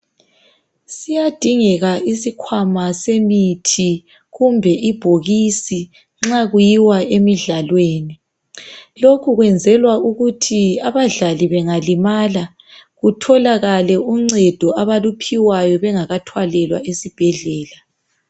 siyadingeka isikwama semithi kumbe ibhokisi nxa kuyiya emidlalweni lokhu kwenzelwa ukuthi abadlali bengalimala kutholakale uncedo abaluphiwayo bengakathwalelwa esibhedlela